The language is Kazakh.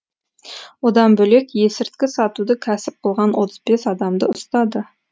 одан бөлек есірткі сатуды кәсіп қылған отыз бес адамды ұстады